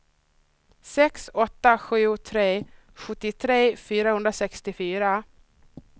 sex åtta sju tre sjuttiotre fyrahundrasextiofyra